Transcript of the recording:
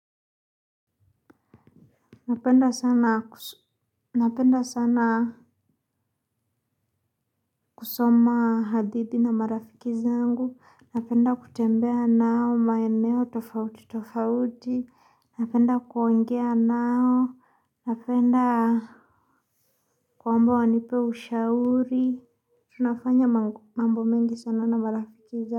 Napenda sana kusoma hadithi na marafiki zangu napenda kutembea nao maeneo tofauti tofauti napenda kuongea nao napenda kwamba wanipe ushauri tunafanya mambo mengi sana na marafiki zangu.